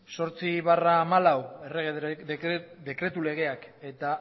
ocho barra dos mil catorce errege dekretu legeak eta